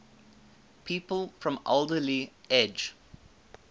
people from alderley edge